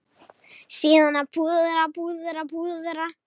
Síðan að púðra, púðra, púðra.